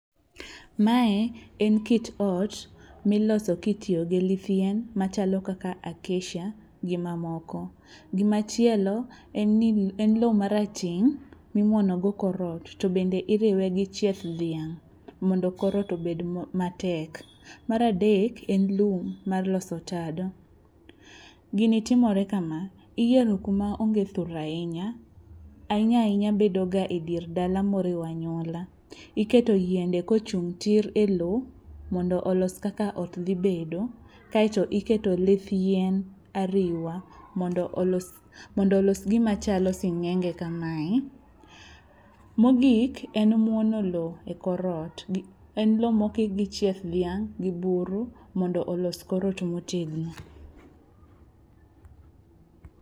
Mae en kit ot miloso kitiyo gi lith yien machalo kaka acacia gi mamoko. Gimachielo en lo marateng' mimuonogo kor ot to bende iriwe gi chieth dhiang' mondo kor ot obed matek. Mar adek en lum mar loso tado, gini timore kama, iyiero kuma onge thur ahinya, ahinya ahinya bedoga e dier dala moriwo anyuola. Iketo yiende kochung' tir e lo mondo olos kaka ot dhibedo kaeto iketo lith yien ariwa mondo olos gimachalo sing'enge kamae. Mogik en muono lo e kor ot, en lo mokik gi chieth dhiang' gi buro mondo olos kor ot motegno.